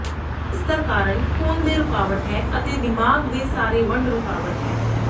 ਇਸ ਦਾ ਕਾਰਨ ਖੂਨ ਦੇ ਰੁਕਾਵਟ ਹੈ ਅਤੇ ਦਿਮਾਗ਼ ਦੇ ਸਾਰੇ ਵੰਡ ਰੁਕਾਵਟ ਹੈ